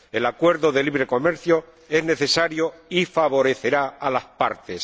El acuerdo de libre comercio es necesario y favorecerá a las partes.